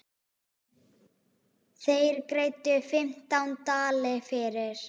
Þeir greiddu fimmtán dali fyrir.